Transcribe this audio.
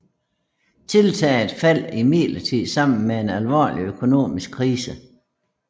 Tiltaget faldt imidlertid sammen med en alvorlig økonomisk krise